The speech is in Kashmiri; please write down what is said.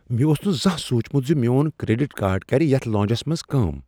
مےٚ اوس نہٕ زانٛہہ سوٗنٛچمت ز میون کریڈٹ کارڈ كٕرِ یتھ لانجس منٛز کٲم ۔